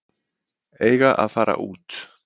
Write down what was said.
Eiga að fara út